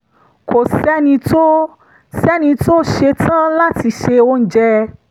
kò sẹ́ni tó sẹ́ni tó ṣetán láti se oúnjẹ